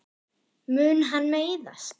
Mun hann meiðast?